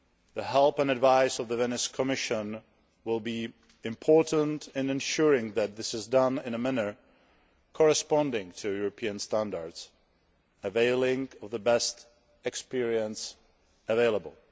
The help and advice of the Venice Commission will be important in ensuring that this is done in a manner corresponding to European standards, availing of the best experience available.